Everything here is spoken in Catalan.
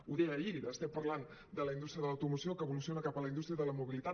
ho deia ahir estem parlant de la indústria de l’automoció que evoluciona cap a la indústria de la mobilitat